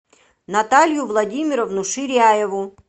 наталью владимировну ширяеву